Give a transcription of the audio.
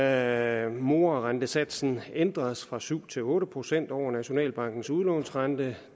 at morarentesatsen ændres fra syv procent til otte procent over nationalbankens udlånsrente